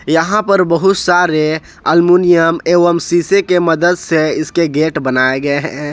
यहां पर बहुत सारे एल्मुनियम एवं शीशे के मदद से इसके गेट बनाए गए हैं।